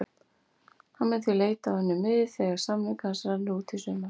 Hann mun því leita á önnur mið þegar samningur hans rennur út í sumar.